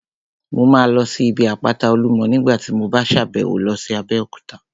Mo máa lọ sí ibi àpáta Olúmọ ní nígbàtí mo bá sàbẹ̀wo lọ sí Abéòkúta